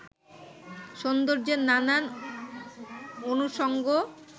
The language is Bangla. সৌন্দর্যের নানান অনুষঙ্গ